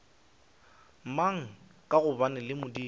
mang ka gobane le modumo